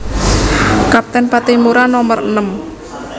Kapten Patimura nomer enem